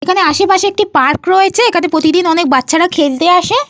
এখানে আসেপাসে একটি পার্ক রয়েছে। এখানে প্রতিদিন অনেক বাচ্চারা খেলতে আসে।